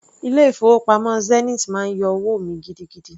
Ilé-ìfowópamọ́ Zenith máa ń yọ owó mi gidigidi.